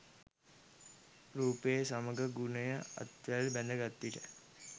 රූපය සමඟ ගුණය අත්වැල් බැඳ ගත් විට